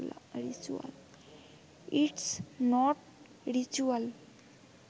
it's not ritual